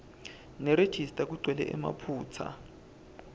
nerejista kugcwele emaphutsa